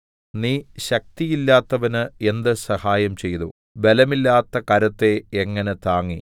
നീ ശക്തിയില്ലാത്തവന് എന്ത് സഹായം ചെയ്തു ബലമില്ലാത്ത കരത്തെ എങ്ങനെ താങ്ങി